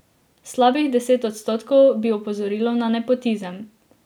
Slabih deset odstotkov bi opozorilo na nepotizem.